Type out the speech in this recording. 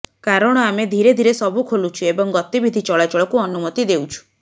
କାରଣ ଆମେ ଧିରେ ଧିରେ ସବୁ ଖୋଲୁଛୁ ଏବଂ ଗତିବିଧି ଚଳାଚଳକୁ ଅନୁମତି ଦେଉଛୁ